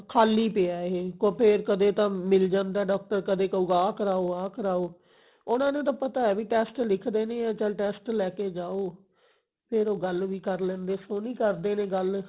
ਖਾਲੀ ਪਿਆ ਇਹ ਫੇਰ ਕਦੇ ਕਦੇ ਤਾਂ ਮਿਲ ਜਾਂਦਾ doctor ਕਦੇ ਕਹੁਗਾ ਆਹ ਕਰਾਓ ਆਹ ਕਰਾਓ ਉਹਨਾਂ ਨੂੰ ਤਾਂ ਪਤਾ ਵੀ test ਲਿਖਦੇ ਨੇ ਵੀ test ਲੈਕੇ ਜਾਓ ਫੇਰ ਉਹ ਗੱਲ ਵੀ ਕਰ ਲੈਂਦੇ ਸੋਹਣੀ ਕਰਦੇ ਨੇ ਗੱਲ